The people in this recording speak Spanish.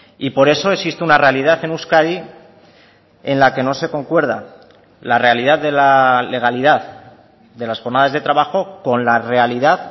y por eso existe una realidad en euskadi en la que no se concuerda la realidad de la legalidad de las jornadas de trabajo con la realidad